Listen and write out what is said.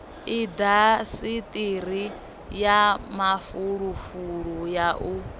indasiṱiri ya mafulufulu u ya